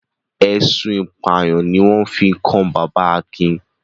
Ẹ̀sùn ìpànìyàn ni wọ́n fi kan bàbá Akin.